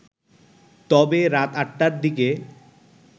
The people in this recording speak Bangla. তবে রাত ৮টার দিকে